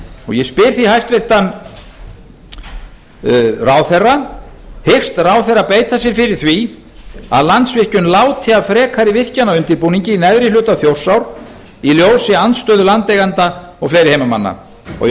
ég spyr því hæstvirtur ráðherra fyrstu hyggst ráðherra beita sér fyrir því að landsvirkjun láti af frekari virkjanaundirbúningi í neðri hluta þjórsár í ljósi andstöðu landeigenda og fleiri